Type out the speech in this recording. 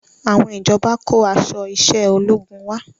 Àwọn ìjọba kó aṣọ iṣẹ́ ológun wá